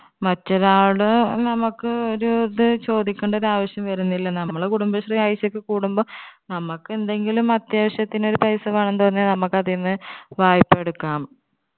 മറ്റൊരാള് നമ്മുക്ക് ഒരു ഇത് ചോദിക്കണ്ടൊരു ആവശ്യം വരുന്നില്ല നമ്മള് കുടുംബശ്രീ ആഴ്ചക്ക് കൂടുമ്പോ നമ്മക്ക് എന്തെങ്കിലും അത്യാവശ്യത്തിനൊരു paisa വേണം തോന്ന്യാൽ നമ്മുക്ക് അതിന്ന് വായ്പ്പ എടുക്കാം